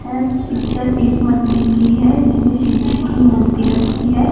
Picture एक मंदिर की है जिसमें शिवजी की मूर्ति रखी है।